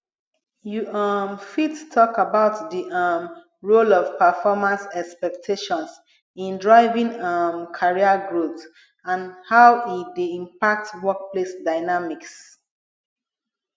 you um fit talk about di um role of performance expectations in driving um career growth and how e dey impact workplace dynamics